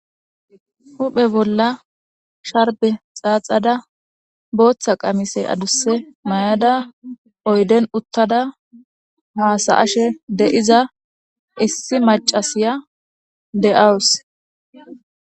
Huphe bolla sharbe xaaxada booththa qamise adusse may'da oyden uttada haasaashe de'iza issi macasiya de'wus.